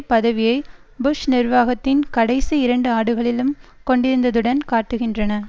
பதவியை புஷ் நிர்வாகத்தின் கடைசி இரண்டு ஆண்டுகளிலும் கொண்டிருந்துடன் காட்டுகின்றன